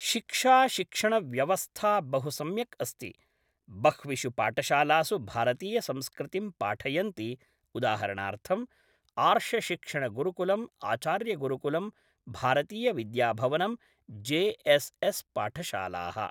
शिक्षा शिक्षणव्यवस्था बहु सम्यक् अस्ति बह्विषु पाठशालासु भारतीयसंस्कृतिं पाठयन्ति उदाहरणार्थम् आर्षशिक्षणगुरुकुलम् आचार्यगुरुकुलं भारतीयविद्याभवनं जे.एस्.एस् पाठशालाः।